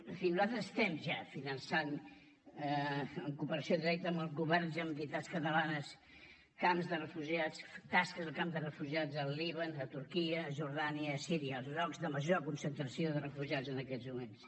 en fi nosaltres estem ja finançant en cooperació directa amb el govern i entitats catalanes camps de refugiats tasques a camps de refugiats al líban a turquia a jordània i a síria els llocs de major concentració de refugiats en aquests moments